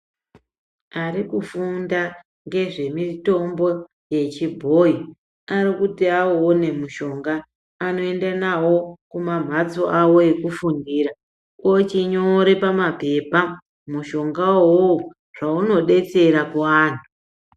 Ari kufunda ngezvemitombo yechibhoyi ari kuti auone mushonga anoenda nawo kumamhatso awo ekufundira ochinyore pamabhepa mushonga uwowo zvaunodetsera kuanhu.